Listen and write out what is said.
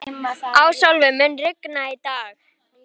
Ásólfur, mun rigna í dag?